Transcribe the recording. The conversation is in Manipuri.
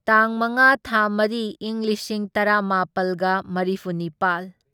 ꯇꯥꯡ ꯃꯉꯥ ꯊꯥ ꯃꯔꯤ ꯢꯪ ꯂꯤꯁꯤꯡ ꯇꯔꯥꯃꯥꯄꯜꯒ ꯃꯔꯤꯐꯨꯅꯤꯄꯥꯜ